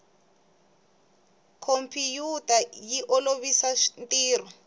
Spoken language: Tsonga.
khompiyuta yi olovisa ntirho